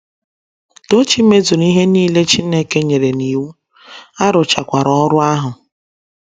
Tochi mezuru ihe nile Chineke nyere ya n’iwu, a rụchakwara ọrụ ahụ.